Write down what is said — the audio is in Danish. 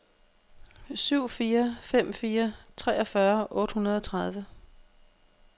syv fire fem fire treogfyrre otte hundrede og tredive